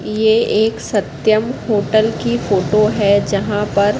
ये एक सत्यम होटल की फोटो है जहां पर--